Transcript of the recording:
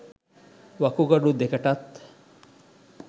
වකුගඩු දෙකටත්